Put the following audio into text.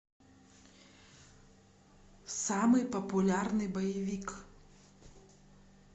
самый популярный боевик